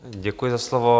Děkuji za slovo.